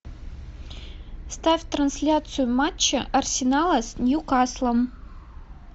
ставь трансляцию матча арсенала с ньюкаслом